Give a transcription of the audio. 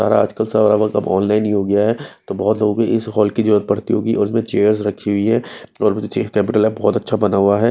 और आजकल सारा मतलब आनलाइन ही हो गया है तो बहुत लोगों को इस हॉल की जरूरत पड़ती होंगी और इसमें चेयर्स रखी हुई हैं और कम्प्यूटर लैब बहुत अच्छा बना हुआ है।